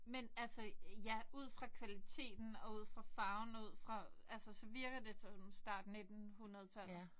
Men altså ja ud fra kvaliteten og ud fra farven og ud fra altså så virker det så som start nittenhundredetallet